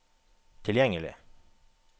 tilgjengelig